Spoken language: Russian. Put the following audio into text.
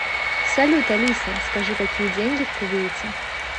салют алиса скажи какие деньги в кувейте